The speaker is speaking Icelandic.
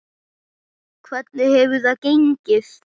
Hvernig hefur það gengið?